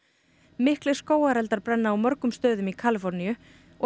miklir skógareldar brenna á mögum stöðum í Kaliforníu og